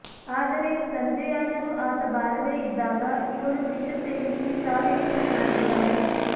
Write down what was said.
ಆದರೆ ಸಂಜೆಯಾದರೂ ಆತ ಬಾರದೇ ಇದ್ದಾಗ ಇವಳು ವಿಷ ಸೇವಿಸಿ ಸಾವಿಗೆ ಶರಣಾಗಿದ್ದಾಳೆ